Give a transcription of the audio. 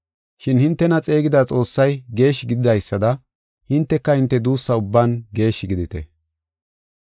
Shin hintena xeegida Xoossay geeshshi gididaysada hinteka hinte duussa ubban geeshshi gidite.